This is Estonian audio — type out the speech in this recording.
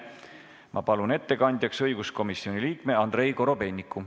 Ma palun ettekandjaks õiguskomisjoni liikme Andrei Korobeiniku.